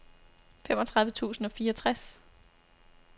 femogtredive tusind og fireogtres